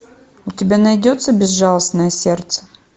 у тебя найдется безжалостное сердце